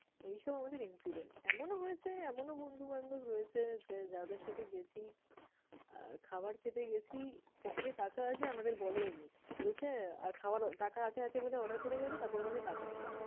এইসব আমাদের incident । এমনও হয়েছে এমনও বন্ধু-বান্ধব রয়েছে যে, যাদের সাথে গেছি আহ খাবার খেতে গেছি pocket এ টাকা আছে আমাদের বলেই নি। বলছে খাবার টাকা আছে আছে বলে order করে গেছে, তারপর বলছে টাকা নেই।